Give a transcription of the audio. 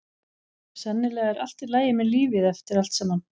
Sennilega er allt í lagi með lífið eftir allt saman.